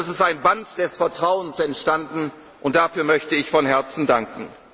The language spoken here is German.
einig. Es ist ein Band des Vertrauens entstanden, und dafür möchte ich von Herzen